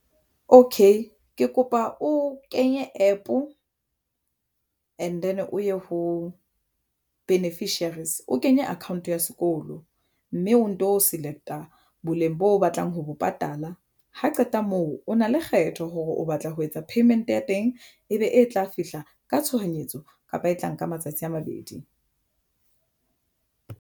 Okay ke kopa o kenye App and then o ye ho beneficiaries o kenye account ya sekolo mme o nto select-a boleng bo batlang ho bo patala. Ha qeta moo o na le kgetho hore o batla ho etsa. Payment ya teng e be e tla fihla ka tshohanyetso kapa e tla nka matsatsi a mabedi.